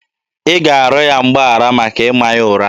Ị ga-arịọ ya mgbaghara maka ịma ya ụra!